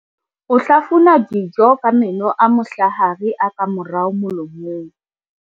o hlafuna dijo ka meno a mohlahare a ka morao molomong